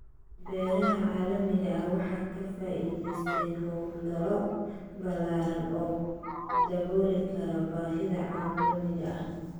Beeraha caalamiga ah waxay ka faa'iideysteen hawlgallo ballaaran oo dabooli kara baahida caalamiga ah.